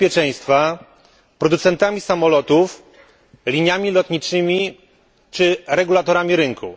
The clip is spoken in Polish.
bezpieczeństwa, producentami samolotów, liniami lotniczymi czy regulatorami rynku.